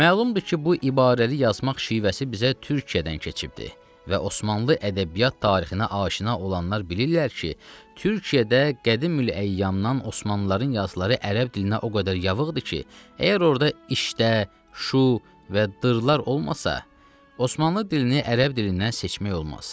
Məlumdur ki, bu ibarəli yazmaq şivəsi bizə Türkiyədən keçibdir və Osmanlı ədəbiyyat tarixinə aşina olanlar bilirlər ki, Türkiyədə qədimül-əyyamdan Osmanlıların yazıları ərəb dilinə o qədər yavıqdır ki, əgər orda işdə, şu və dırlar olmasa, Osmanlı dilini ərəb dilindən seçmək olmaz.